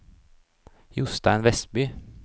Jostein Westby